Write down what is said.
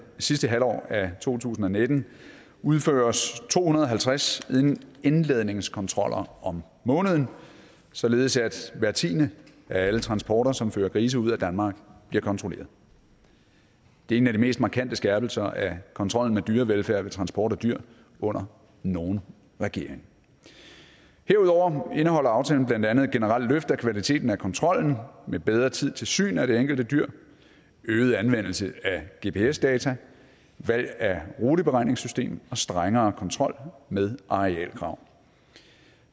sidste halvår af to tusind og nitten udføres to hundrede og halvtreds indladningskontroller om måneden således at hver tiende af alle transporter som fører grise ud af danmark bliver kontrolleret det er en af de mest markante skærpelser af kontrollen med dyrevelfærd ved transport af dyr under nogen regering herudover indeholder aftalen blandt andet et generelt løft af kvaliteten af kontrollen med bedre tid til syn af det enkelte dyr øget anvendelse af gps data valg af ruteberegningssystem og strengere kontrol med arealkrav